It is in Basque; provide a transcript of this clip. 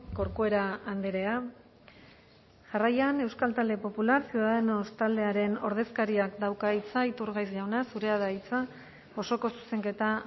corcuera andrea jarraian euskal talde popular ciudadanos taldearen ordezkariak dauka hitza iturgaiz jauna zurea da hitza osoko zuzenketa